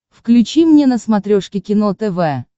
включи мне на смотрешке кино тв